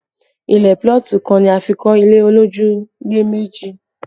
Ilẹ̀ púlọ̀tì kan ni a fi kọ́ ilé olójúlé mẹ́jọ